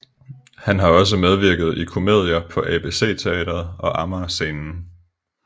Han har også medvirket i komedier på ABC Teatret og Amagerscenen